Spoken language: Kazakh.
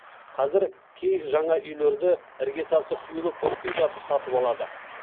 қазір кей жаңа үйлерді іргетасы құйылып бітпей жатып сатып алады